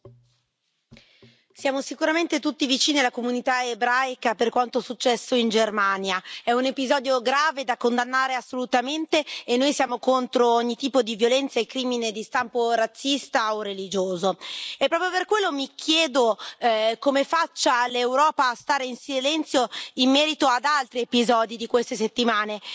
Signora Presidente, onorevoli colleghi, siamo sicuramente tutti vicini alla comunità ebraica per quanto successo in Germania. È un episodio grave, da condannare, assolutamente, e noi siamo contro ogni tipo di violenza e crimine di stampo razzista o religioso. E proprio per quello mi chiedo come faccia l'Europa a stare in silenzio in merito ad altri episodi di queste settimane.